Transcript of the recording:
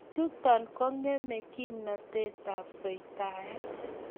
Chuton kong'eme kimnotetab soitaet.